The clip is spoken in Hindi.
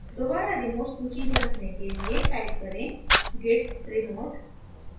दोबारा remote सूची जाँचने के लिए type करें git remote